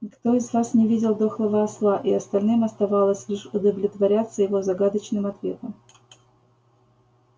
никто из вас не видел дохлого осла и остальным оставалось лишь удовлетворяться его загадочным ответом